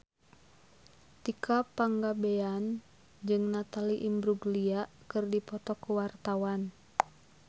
Tika Pangabean jeung Natalie Imbruglia keur dipoto ku wartawan